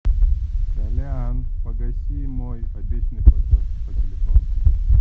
толян погаси мой обещанный платеж по телефону